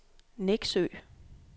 Nexø